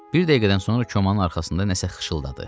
Bir dəqiqədən sonra komanın arxasında nəsə xışıdadı.